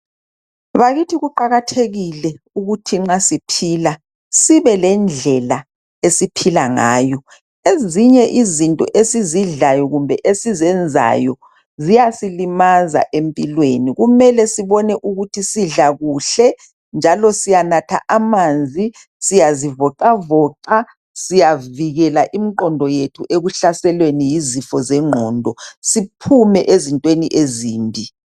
Bakithi kuqakathekile ukuthi nxa siphila sibe lendlela esiphila ngayo . Ezinye izinto esidlayo kumbe esizenzayo ziyasilimaza empilweni. Kumele sibone ukuthi sidla kuhle njalo siyanatha amanzi, siyazivoxavoxa , siyavikela imqondo yethu ekuhlaselweni yizifo zengqondo siphume ezintweni ezimbi.